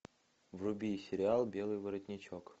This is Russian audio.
вруби сериал белый воротничок